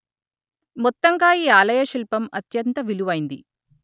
మొత్తంగా ఈ ఆలయశిల్పం అత్యంత విలువైంది